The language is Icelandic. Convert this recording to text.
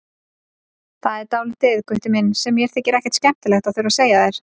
Það er dálítið, Gutti minn, sem mér þykir ekkert skemmtilegt að þurfa að segja þér.